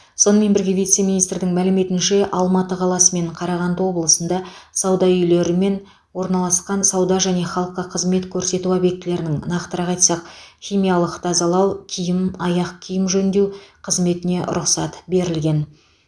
сонымен бірге вице министрдің мәліметінше алматы қаласы мен қарағанды облысында сауда үйлері мен орналасқан сауда және халыққа қызмет көрсету объектілерінің нақтырақ айтсақ химиялық тазалау киім аяқ киім жөндеу қызметіне рұқсат берілген